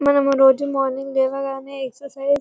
మనము రోజు మార్నింగ్ లేవగానే ఎక్సర్సిస్ --